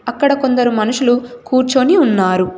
అక్కడ కొందరు మనుషులు కూర్చొని ఉన్నారు.